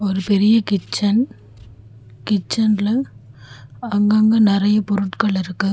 ஒரு பெரிய கிச்சன் கிச்சன்ல அங்கங்க நறைய பொருட்கள் இருக்கு.